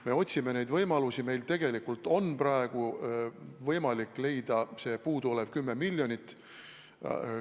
Me otsime neid võimalusi ja meil tegelikult on võimalik leida see puudu olev 10 miljonit.